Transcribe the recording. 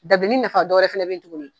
Dabileni nafa dɔwɛrɛ fɛnɛ bɛ ye tuguni.